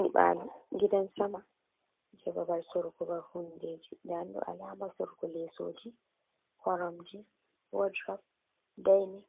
Nyiɓaalo "gidan sama" jey babal soorugo ban hunndeeji. Ndaa ndum ɗoo "alaama" soorugo leesooji koromje "woodurop, dayni".